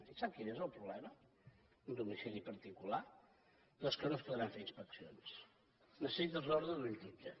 i sap quin és el problema un domicili particular doncs que no es podran fer inspeccions necessites l’ordre d’un jutge